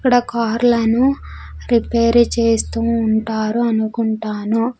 ఇక్కడ కార్లను రిపేర్ చేస్తూ ఉంటారు అనుకుంటాను.